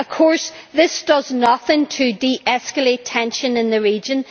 Of course, this does nothing to de escalate tension in the region.